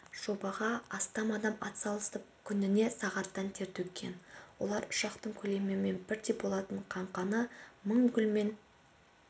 жобаға астам адам атсалысып күніне сағаттан тер төккен олар ұшақтың көлемімен бірдей болат қаңқаны мың гүлмен